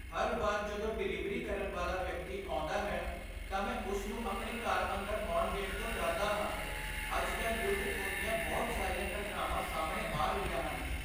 ਹਰ ਵਾਰ ਜਦੋਂ ਡਿਲੀਵਰੀ ਕਰਨ ਵਾਲਾ ਵਿਅਕਤੀ ਆਉਂਦਾ ਹੈ, ਤਾਂ ਮੈਂ ਉਸ ਨੂੰ ਆਪਣੇ ਘਰ ਅੰਦਰ ਉਣ ਦੇਣ ਤੋਂ ਡਰਦਾ ਹਾਂ ਅੱਜ ਕੱਲ੍ਹ ਲੁੱਟ ਖੋਹ ਦੀਆਂ ਬਹੁਤ ਸਾਰੀਆਂ ਘਟਨਾਵਾਂ ਸਾਹਮਣੇ ਆ ਰਹੀਆਂ ਹਨ